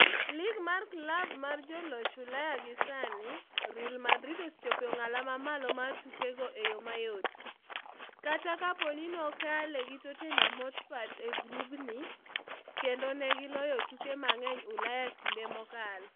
Lig mar klab mar joloch Ulaya gi sani, Real osechopo e ong'ala mamalo mar tukego e yoo mayot, kata kapo ni nokaale gi Tottenham Hotspur e gubgi - kendo negi loyo tuke mang'eny Ulaya e kinde mokalo.